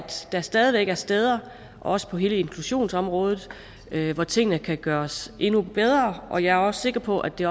der stadig væk er steder også på hele inklusionsområdet hvor tingene kan gøres endnu bedre og jeg er også sikker på at det